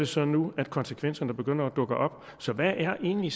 så nu konsekvenserne begynder at dukke op så hvad er egentlig